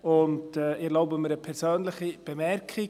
Ich erlaube mir eine persönliche Bemerkung.